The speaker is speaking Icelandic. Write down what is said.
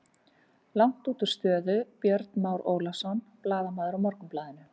Langt útúr stöðu Björn Már Ólafsson, blaðamaður á Morgunblaðinu.